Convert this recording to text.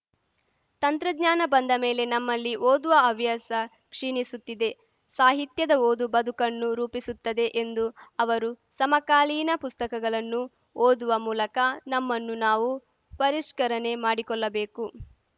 ತಂತ್ರಜ್ಞಾನ ಬಂದ ಮೇಲೆ ನಮ್ಮಲ್ಲಿ ಓದುವ ಹವ್ಯಾಸ ಕ್ಷೀಣಿಸುತ್ತಿದೆ ಸಾಹಿತ್ಯದ ಓದು ಬದುಕನ್ನು ರೂಪಿಸುತ್ತದೆ ಎಂದು ಅವರು ಸಮಕಾಲೀನ ಪುಸ್ತಕಗಲನ್ನು ಓದುವ ಮೂಲಕ ನಮ್ಮನ್ನು ನಾವು ಪರಿಷ್ಕರನೆ ಮಾಡಿಕೊಲ್ಲಬೇಕು